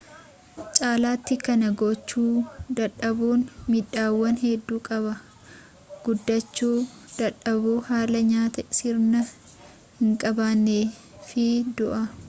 caalaati kanaa gochuu dadhabuun miidhaawwan hedduu qaba guddachu dadhabuu haala nyaata sirna hin qabne fi du'aa